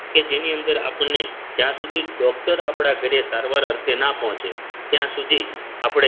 કે જેની અંદર આપણને જ્યાં સુધી ડોક્ટર આપણા ઘરે સારવાર અર્થે ના પહોંચે ત્યાં સુધી આપણે